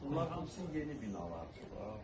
Bunlar hamısı yeni binalardır.